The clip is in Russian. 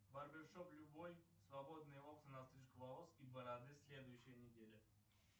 барбер шоп любой свободные окна на стрижку волос и бороду следующая неделя